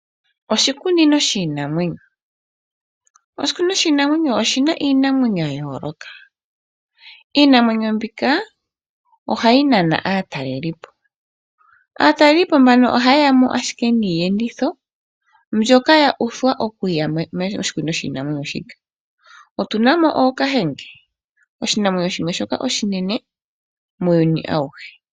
Oshikunino shiinamwenyo, oshikunino shiinamwenyo oshina iinamwenyo yayolokathana niinamwenyo ndjika ohayi nana aatalelipo. Aatalelipo ohayeyamo niiyenditho ndjoka yuthwa okuyamo moshikunino shiinamwenyo moshikuku shii otunamo ookahenge oshinamwenyo shoka oshinene kiinamwenyo ayihe muuyuni.